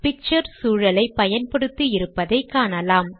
picture சூழலை பயன்படுத்தி இருப்பதை காணலாம்